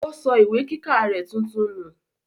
ó sọ ìwé kíkà rẹ̀ tuntun nù.